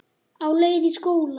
Á leið í skóla.